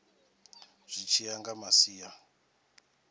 zwi tshi ya nga masia